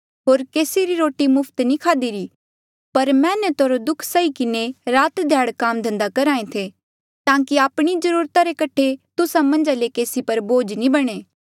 होर केसी री रोटी मुफ्त नी खाधीरी पर मैहनत होर दुःख उठाई किन्हें रात ध्याड़ काम धन्धा करहा ऐें थे ताकि आपणी जरूरता रे कठे तुस्सा मन्झा ले केसी पर बोझ नी बणे